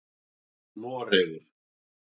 Noregur